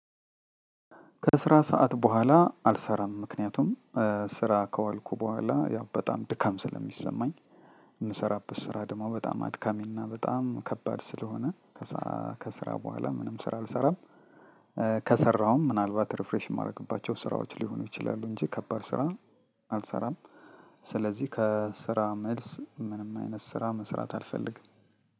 ከስራ ሰዓት በኋላ አልሰራም ምክንያቱም ስራ ከዋልኩ በኋላ ያው በጣም ድካም ስለሚሰማኝ የምሰራበት ስራ ደሞ በጣም አድካሚና በጣም ከባድ ስለሆነ ከስራ በኋላ ምንም ስራ አልሰራም፤ ከሰራሁም ምናልባት ሪፍሬሽ የማደርግባቸው ስራዎች ሊሆኑ ይችላሉ እንጂ ከባድ ስራ አልሰራም። ስለዚህ ከስራ መልስ ምንም አይነት ስራ መስራት አልፈልግም።